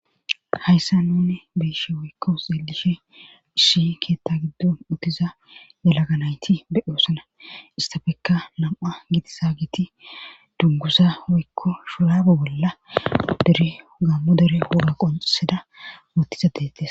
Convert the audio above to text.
hayssa nune be'ishe woykko xeelishe ishi keetta giddon uttiza delaganayti be oosana istafekka nam7a giti saagiti duggusa woykko shuraabe bolla dere gammu dere woge qonseda wotiza deetes